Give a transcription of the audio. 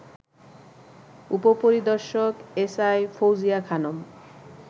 উপপরিদর্শক এসআই ফৌজিয়া খানম